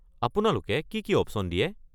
আপোনালোকে কি কি অপশ্যন দিয়ে?